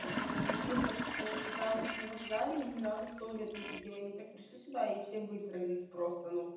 месяц питалась на вокзале и не разу в туалет не ходила они так пришли сюда и все высрались просто